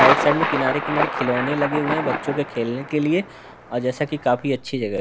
Side side में किनारे किनारे खिलौने लगे हुए बच्चों के खेलने के लिए और जैसा कि काफी अच्छी जगह है।